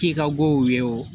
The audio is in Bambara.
K'i ka wo ye o